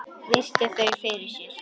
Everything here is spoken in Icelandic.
Virti þau fyrir sér.